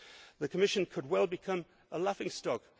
The Commission could well become a laughing stock.